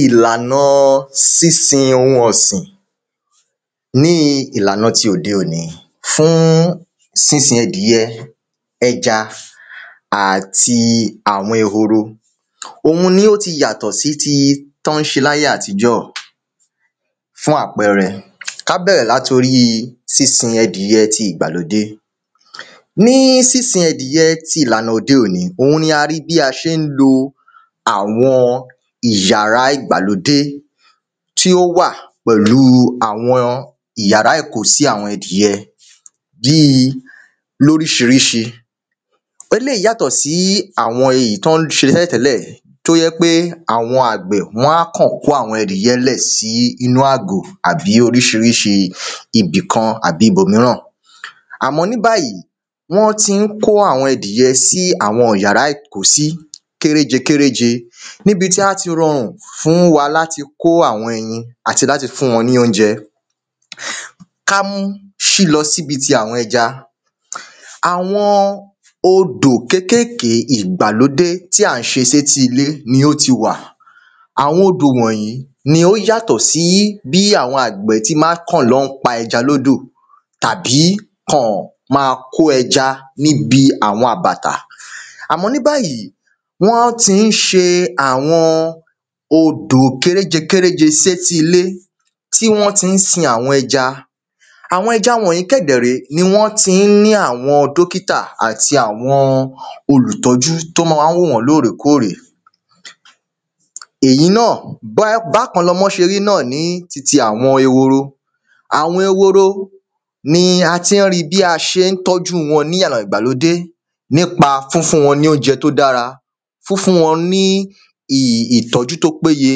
Ìlànà sísin ohun ọ̀sìn. Ní ìlànà ti òde òní fún sínsin ẹdìyẹ ẹja àti àwọn ehoro. Fún àpẹrẹ ká bẹ̀rẹ̀ lórí sínsin ẹdìyẹ ti ìgbàlódé Ní sínsin ẹdìyẹ ti ìlànà òde òní òhun ni a rí bí a ṣe ń lo àwọn ìyàrá ìgbàlódé tí ó wà pẹ̀lú yàrá ìkósí àwọ ẹdìyẹ bí lóríṣiríṣi. Eléèyí yàtọ̀ sí àwọn èyí tán ń ṣe tẹ́lẹ̀ tẹ́lẹ̀ tó jẹ́ pé àwọn àgbẹ̀ wọ́n á kán kó àwọn adìyẹ lẹ̀ sí inú àgò tàbí oríṣiriṣi ibìkan tàbí ibòmíràn. Àmọ́ ní báyìí wọ́n tí ń kó àwọ ẹdìyẹ sí yàrá ìkósí kéréje kéréje níbi tí á ti rọrùn fún wa láti kó àwọn ẹyin àti láti fún wọn ní óúnjẹ Kámú ṣí lọ síbi ti àwọn ẹja. Àwọn odò kékékèké ìgbàlódé tí à ń ṣe sétí ilé ni ó ti wà. Àwọn odò wọ̀nyí ni ó yàtọ̀ sí bí àwọn àgbẹ̀ tí má ń kàn lọ́ pẹja lódò àbí kàn má kó ẹja níbi àwọn àbàtà àmọ́ ní báyìí wọ́n tí ń ṣe àwọn odò kéréje kéréje sétí ilé tí wọ́n tí ń sin àwọn ẹja. Àwọn ẹja wọ̀nyí kẹ̀dè ré ni wọ́n tí ń ní àwọn dókítà àti àwọn olùtọ́jú tó mọ́ ń wá wò wọ́n lórèkórè. èyí náà bákan náà wọ́n ṣe rí náà ní titi àwọn ehoro. Àwọn ehoro ni a ti ń rí bí a ṣe ń tọ́jú wọn ní ọ̀nà ìgbàlódé nípa fúnfún wọn ní óúnjẹ tó dára fúnfún wọn ní ìtọ́jú tó péye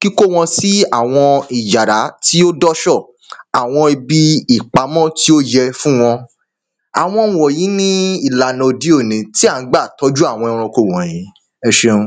kíkó wọn sí àwọn ìyàrá tí ó dọ́sọ̀ àwọn ibi ìpamọ́ tí ó yẹ fún wọn. Àwọn wọ̀nyí ni ìlànà òde òní tí à ń gbà tọ́jú àwọn ẹranko wọ̀nyí ẹṣeun.